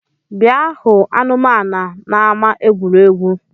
Bịa hụ anụmanu n’ama egwuregwu!